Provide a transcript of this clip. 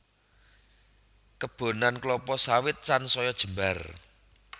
Kebonan klapa sawit sansaya jembar